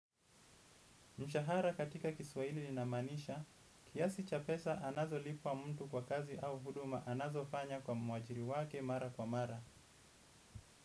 Mshahara katika kiswaili ina manisha, kiasi chapesa anazo lipwa mtu kwa kazi au huduma anazo fanya kwa mwajiri wake mara kwa mara.